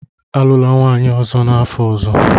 Alụla nwunye ọzọ n'afọ ọzọ!